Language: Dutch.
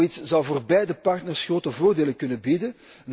Zoiets zou voor beide partners grote voordelen kunnen bieden.